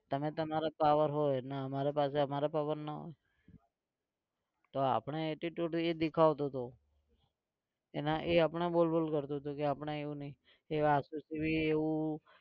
તમે તમારા power હોય ને અમારી પાસે અમારો power નાં હોય. તો આપણે attitude એ દેખાવતો હતો. એના એ આપણે બોલ બોલ કરતો હતો તો આપણે એવું નહિ એવા એવું.